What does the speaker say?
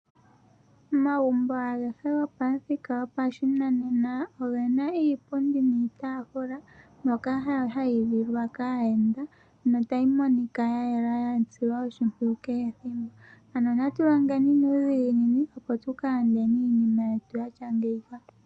Omagumbo agehe gopamuthika gwopashinanena oge na iipundi niitafula mbyoka hayi lilwa kaayenda nota yi monika ya yela ya silwa oshimpwiyu kehe ethimbo ano natu longeni nuudhiginini opo tuka landeni iinima yetweni yatya ngeyika.